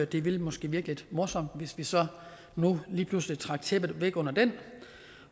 det ville måske virke lidt morsomt hvis vi så nu lige pludselig trak tæppet væk under den